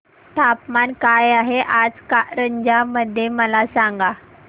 तापमान काय आहे आज कारंजा मध्ये मला सांगा